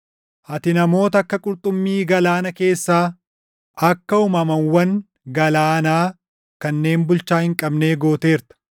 Ati namoota akka qurxummii galaana keessaa, akka uumamawwan galaanaa kanneen bulchaa // hin qabnee gooteerta.